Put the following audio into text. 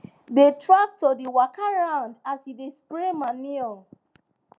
di tractor dey waka round as e dey spray manure